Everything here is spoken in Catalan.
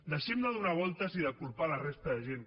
deixem de fer voltes i de culpar la resta de gent